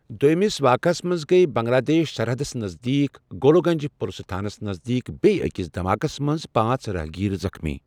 دوٚیمِس واقعہس منٛز گٔیہ بنٛگلہ دیش سرحدَس نزدیٖک گولوک گنج پلسہٕ تھانس نزدیٖک بیٚیہ أکِس دھماکس منٛز پانٛژھ راہگیر زخمی ۔